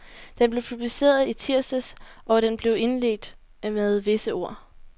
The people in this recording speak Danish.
Den blev publiceret i tirsdags, og den blev indledt med vise ord.